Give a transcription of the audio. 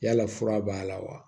Yala fura b'a la wa